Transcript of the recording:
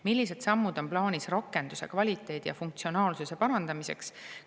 Millised sammud on plaanis rakenduse kvaliteedi ja funktsionaalsuse parandamiseks?